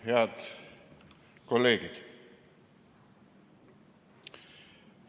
Head kolleegid!